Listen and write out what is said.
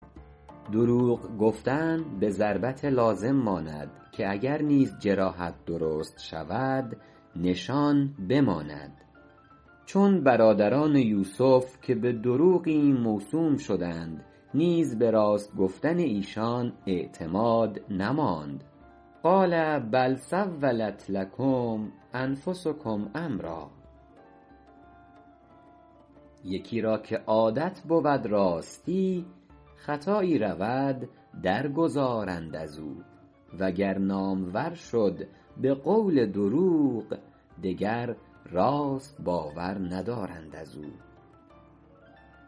دروغ گفتن به ضربت لازم ماند که اگر نیز جراحت درست شود نشان بماند چون برادران یوسف که به دروغی موسوم شدند نیز به راست گفتن ایشان اعتماد نماند قال بل سولت لکم انفسکم امرا یکی را که عادت بود راستی خطایی رود در گذارند از او و گر نامور شد به قول دروغ دگر راست باور ندارند از او